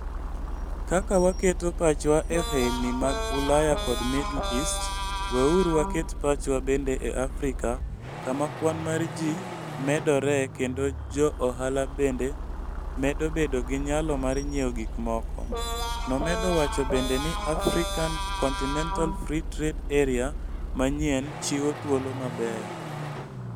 Kaka waketo pachwa e ohelni mag Ulaya kod Middle East, weuru waket pachwa bende e Afrika kama kwan mar ji medoree kendo jo ohala bende medo bedo gi nyalo mar nyiewo gik moko, nomedo wacho bende ni African Continental Free Trade Area manyien chiwo thuolo mabeyo.